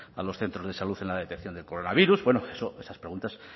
a los centros de salud en la detención del coronavirus bueno esas preguntas